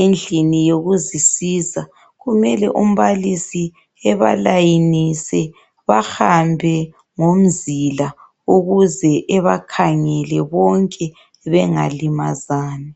endlini yokuzisa kumele umbalisi ebalayinise bahambe ngomzila ukuze ebakhangele bonke bengalimazani.